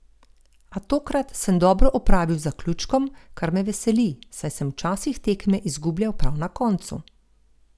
A tokrat sem dobro opravil z zaključkom, kar me veseli, saj sem včasih tekme izgubljal prav na koncu.